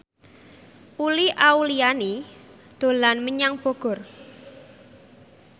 Uli Auliani dolan menyang Bogor